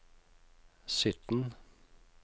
sytten